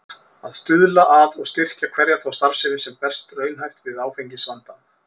Að stuðla að og styrkja hverja þá starfsemi, sem berst raunhæft við áfengisvandann.